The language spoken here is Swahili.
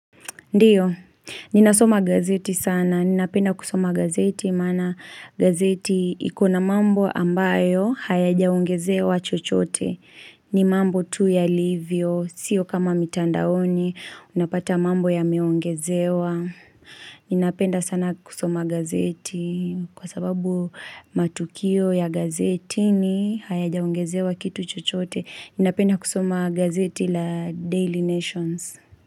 Ndio. Ninasoma gazeti sana. Ninapenda kusoma gazeti imana gazeti iko na mambo ambayo hayajaongezewa chochote. Ni mambo tu yalivyo. Sio kama mitandaoni. Unapata mambo yameongezewa. Ninapenda sana kusoma gazeti kwa sababu matukio ya gazetini hayajaongezewa kitu chochote. Ninapenda kusoma gazeti la Daily Nations.